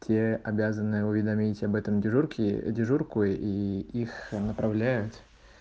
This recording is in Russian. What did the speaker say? те обязаны уведомить об этом дежурке дежурку и их направляют